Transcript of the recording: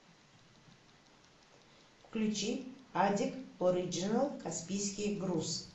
включи адик ориджинал каспийский груз